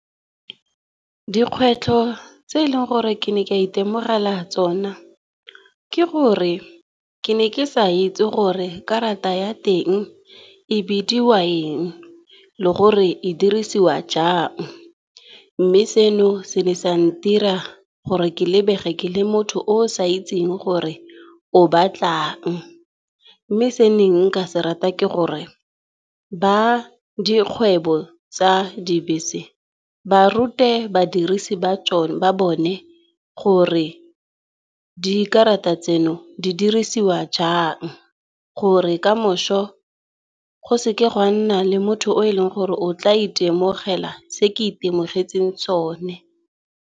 Dikgwetlho tse eleng gore ke ne ka itemogela tsona, ke gore ke ne ke sa itse gore karata ya teng e bidiwa eng le gore e dirisiwa jang. Mme seno se ne sa ntira gore ke lebege ke le motho o sa itseng gore o batlang, mme se nka se rata ke gore ba dikgwebo tsa dibese barute ke badirisi ba bone gore dikarata tseno di dirisiwa jang. Gore kamošo go seke ga nna le motho o e leng gore o tla itemogela se ke itemogetseng sone.